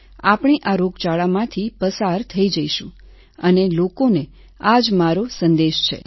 આપણે આ રોગચાળામાંથી પસાર થઈ જઈશું અને લોકોને આ જ મારો સંદેશ છે સર